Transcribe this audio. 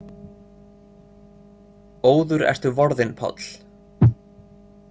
Óður ertu vorðinn, Páll.